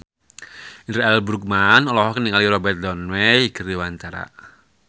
Indra L. Bruggman olohok ningali Robert Downey keur diwawancara